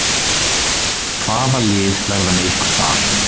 Hvaða lið verða með ykkur þar?